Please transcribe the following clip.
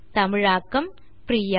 தமிழாக்கம் பிரியா